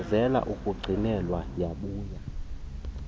eyalezele ukuyigcinelwa yakubuya